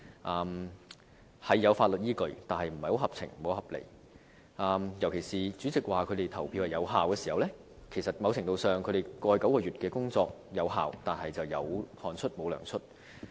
當中雖有法律依據的，但不太合情合理，尤其是主席說他們的投票有效，某程度上，即是說他們過去9個月的工作有效，但卻"有汗出無糧出"。